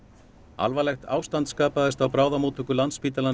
alvarlegt ástand skapaðist á bráðamóttöku Landspítalans